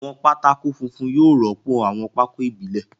Àwọn pátákó funfun yóò rọ́pò àwọn pákó ìbílẹ̀.